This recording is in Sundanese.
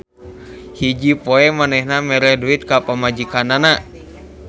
Hiji poe manehna mere duit ka pamajikanana.